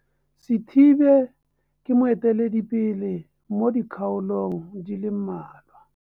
Sithibe ke moeteledipele mo dikgaolong di le mmalwa.